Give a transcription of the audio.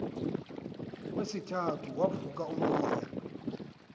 kwesithathu wavuka umoya